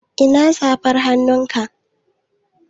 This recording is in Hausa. Ina safar hannunka?